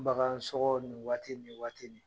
Bagan sɔgɔ ni waati nin, ni waati min.